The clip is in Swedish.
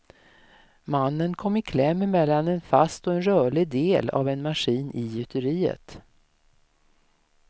Mannen kom i kläm mellan en fast och en rörlig del av en maskin i gjuteriet.